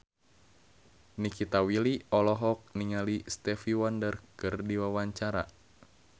Nikita Willy olohok ningali Stevie Wonder keur diwawancara